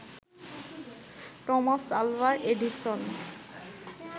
Thomas Alva Edison